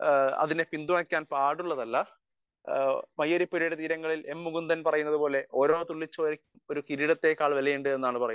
speaker 1 അതിനെ പിന്തുണക്കാൻ പാടുള്ളതല്ല മയ്യഴി പുഴയുടെ തീരങ്ങളിൽ എം മുകുന്ദൻ പറയുന്നതുപോലെ ഓരോ തുള്ളി ചോരക്കും ഒരു കിരീടത്തെക്കാൾ വിലയുണ്ട് എന്നാണ്